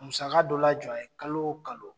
Musaka dɔ lajɔ a ye kalo o kalo.